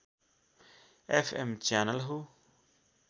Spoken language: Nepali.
एफएम च्यानल हो